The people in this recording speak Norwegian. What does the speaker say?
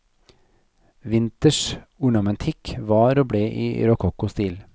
Vinters ornamentikk var og ble i rokokkostil.